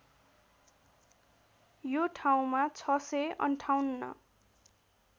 यो ठाउँमा ६५८